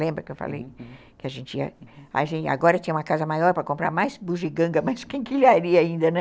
Lembra que eu falei, uhum, que a gente ia... Agora tinha uma casa maior para comprar mais bugiganga, mais quinquilharia ainda, né?